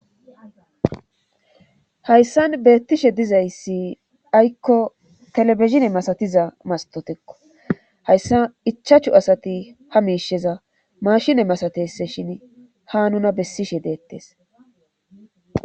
Hayssan beettishe dizayssi aykko telebizine masatiza mastotekko hayssa ichachu asati ha miisheza mashine masatese shin ha nuna bessishe deettes.